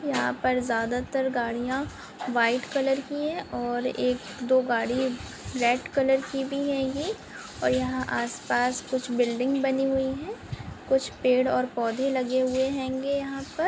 यहा पर ज़्यादातर गाड़िया व्हाइट कलर की है और एक दो गाडी रेड कलर की भी है ये और यहा आसपास कुछ बिल्डिंग बनी हुई है कुछ पेड और पौधे लगे हुए हेंगे यहा पर।